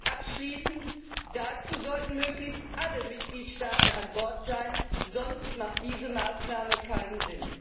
Und abschließend Dazu sollten möglichst alle Mitgliedstaaten an Bord sein, sonst macht diese Maßnahme keinen Sinn!